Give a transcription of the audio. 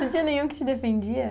Não tinha nenhum que te defendia?